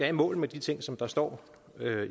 i mål med de ting som der står